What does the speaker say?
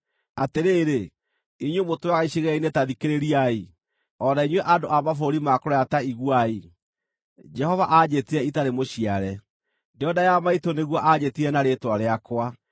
Atĩrĩrĩ, inyuĩ mũtũũraga icigĩrĩra-inĩ ta thikĩrĩriai; o na inyuĩ andũ a mabũrũri ma kũraya ta iguai: Jehova aanjĩtire itarĩ mũciare; ndĩ o nda ya maitũ nĩguo aanjĩtire na rĩĩtwa rĩakwa.